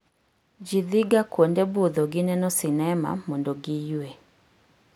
Ji dhiga kuonde budho gi neno sinema mondo giyue